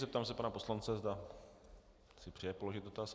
Zeptám se pana poslance, zda si přeje položit dotaz.